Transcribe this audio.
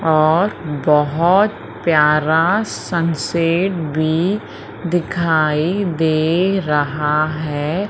और बहोत प्यारा सनसेट भी दिखाइ दे रहा है।